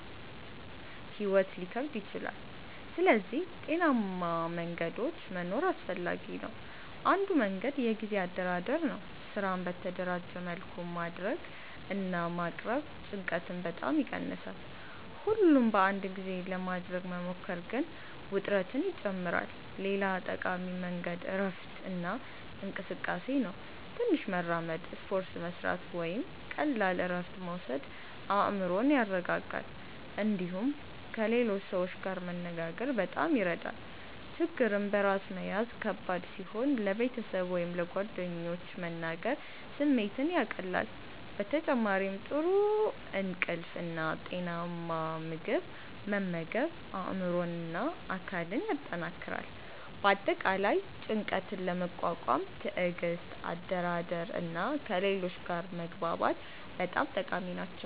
ሕይወት ሊከብድ ይችላል። ስለዚህ ጤናማ መንገዶች መኖር አስፈላጊ ነው። አንዱ መንገድ የጊዜ አደራደር ነው። ስራን በተደራጀ መልኩ ማድረግ እና ማቅረብ ጭንቀትን በጣም ይቀንሳል። ሁሉን በአንድ ጊዜ ለማድረግ መሞከር ግን ውጥረትን ይጨምራል። ሌላ ጠቃሚ መንገድ እረፍት እና እንቅስቃሴ ነው። ትንሽ መራመድ፣ ስፖርት መስራት ወይም ቀላል እረፍት መውሰድ አእምሮን ያረጋጋል። እንዲሁም ከሌሎች ሰዎች ጋር መነጋገር በጣም ይረዳል። ችግርን በራስ መያዝ ከባድ ሲሆን ለቤተሰብ ወይም ለጓደኞች መናገር ስሜትን ያቀላል። በተጨማሪም ጥሩ እንቅልፍ እና ጤናማ ምግብ መመገብ አእምሮን እና አካልን ያጠናክራል። በአጠቃላይ ጭንቀትን ለመቋቋም ትዕግስት፣ አደራደር እና ከሌሎች ጋር መግባባት በጣም ጠቃሚ ናቸው።